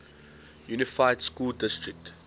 unified school district